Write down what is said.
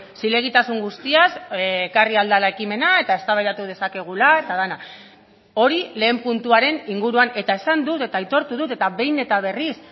zilegitasun guztiaz ekarri ahal dela ekimena eta eztabaidatu dezakegula eta dena hori lehen puntuaren inguruan eta esan dut eta aitortu dut eta behin eta berriz